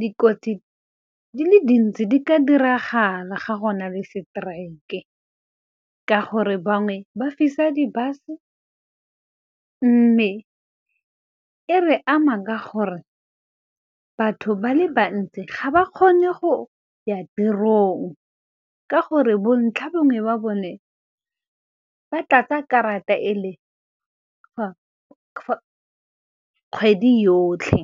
Dikotsi di le dintsi di ka diragala ga go na le strike-e, ka gore bangwe ba fisa di-bus-e mme e re ama ka gore, batho ba le bantsi ga ba kgone go ya tirong. Ka gore bontlha bongwe ba bone, ba tla ka karata e le kgwedi yotlhe.